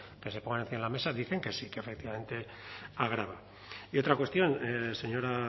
que se pongan encima de la mesa dicen que sí que efectivamente agrava y otra cuestión señora